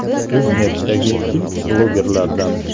O‘zNetdagi ilk blogerlardan.